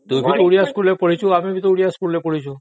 ତୁ ବି ଓଡ଼ିଆ ସ୍କୁଲରେ ପଢିଛୁ ଆଉ ଆମେ ବି ପଢିଛୁ